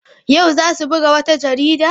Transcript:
Yau za su buga wata jarida?